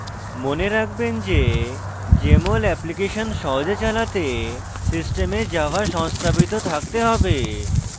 মনে রাখবেন যে jmol অ্যাপ্লিকেশন সহজে চালাতে system java সংস্থাপিত থাকতে have